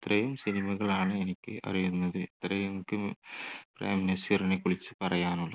ഇത്രയും cinema കളാണ് എനിക്ക് അറിയുന്നത്. ഇത്രയും എനിക്ക് പ്രേം നസീറിനെക്കുറിച്ച് പറയാനു